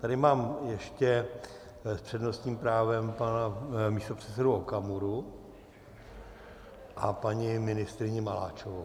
Tady mám ještě s přednostním právem pana místopředsedu Okamuru a paní ministryni Maláčovou.